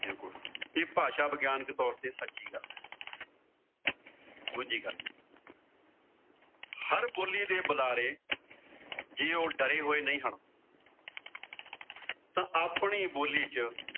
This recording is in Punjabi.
ਇਹ ਭਾਸ਼ਾ ਵਿਗਿਆਨਿਕ ਤੋਰ ਤੇ ਸੱਚੀ ਗੱਲ। ਦੂਜੀ ਗੱਲ ਹਰ ਬੋਲੀ ਦੇ ਬੁਲਾਰੇ ਜੇ ਉਹ ਡਰੇ ਹੋਏ ਨਹੀਂ ਹਨ। ਤਾਂ ਆਪਣੀ ਬੋਲੀ ਚ